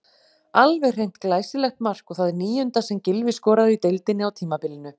Alveg hreint glæsilegt mark og það níunda sem Gylfi skorar í deildinni á tímabilinu.